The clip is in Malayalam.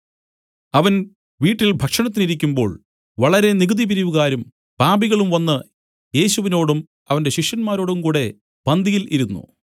അവൻ വീട്ടിൽ ഭക്ഷണത്തിന് ഇരിക്കുമ്പോൾ വളരെ നികുതി പിരിവുകാരും പാപികളും വന്നു യേശുവിനോടും അവന്റെ ശിഷ്യന്മാരോടും കൂടെ പന്തിയിൽ ഇരുന്നു